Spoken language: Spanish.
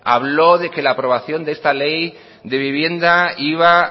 habló de que la aprobación de esta ley de vivienda iba